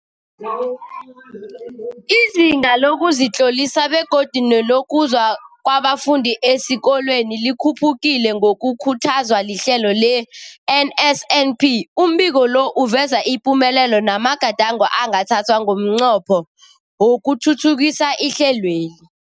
Izinga lokuzitlolisa begodu nelokuza kwabafundi esikolweni likhuphukile ngokukhuthazwa lihlelo le-NSNP. Umbiko lo uveza ipumelelo namagadango angathathwa ngomnqopho wokuthuthukisa ihlelweli.